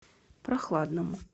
прохладному